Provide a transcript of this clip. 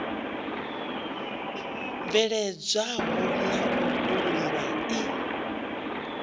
bveledzwaho na u vhulungwa i